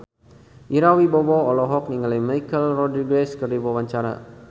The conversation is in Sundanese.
Ira Wibowo olohok ningali Michelle Rodriguez keur diwawancara